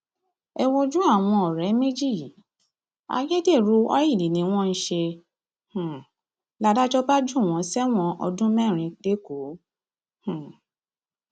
ẹ wojú àwọn ọrẹ méjì yìí ayédèrú ọìlì ni wọn ń ṣe um ládàjọ bá jù wọn sẹwọn ọdún mẹrin lẹkọọ um